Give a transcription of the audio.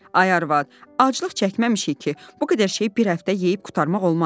“Ay arvad, aclıq çəkməmişik ki, bu qədər şeyi bir həftə yeyib qurtarmaq olmaz.”